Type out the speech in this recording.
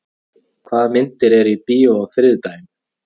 Ármey, hvaða myndir eru í bíó á þriðjudaginn?